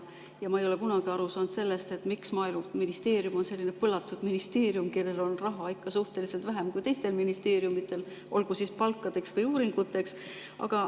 Ma ei ole kunagi aru saanud, miks Maaeluministeerium on selline põlatud ministeerium, kellel on raha ikka suhteliselt vähem kui teistel ministeeriumidel, olgu siis palkadeks või uuringuteks.